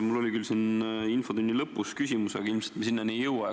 Mul on küll infotunni lõpus ette nähtud küsimus, aga ilmselt me sinnani ei jõua.